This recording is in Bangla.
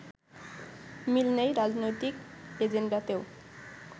মিল নেই রাজনৈতিক এজেন্ডাতেও